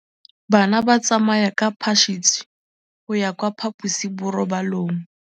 Bana ba tsamaya ka phašitshe go ya kwa phaposiborobalong.